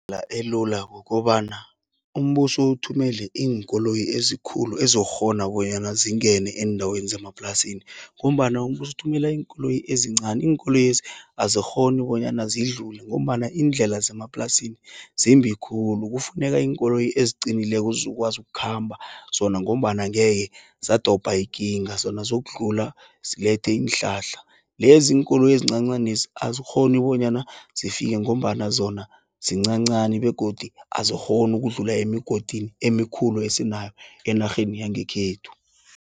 Indlela elula kukobana umbuso uthumele iinkoloyi ezikhulu, ezokghona bonyana zingene eendaweni zemaplasini, ngombana umbuso ukuthumela iinkoloyi ezincani. Iinkoloyezi, azikghoni bonyana zidlule, ngombana iindlela zemaplasini zimbi khulu. Kufuneka iinkoloyi eziqinileko, zokwazi ukukhamba, zona ngombana angeke zadobha ikinga, zona zokudlula zilethe iinhlahla. Lezi iinkoloyi ezincancanezi, azikghoni bonyana zifike, ngombana zona zincancani, begodu azikghoni ukudlula emgodini emikhulu esinayo, enarheni yangekhethu.